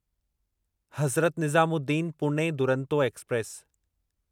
Hazrat Nizamuddin Pune Duronto express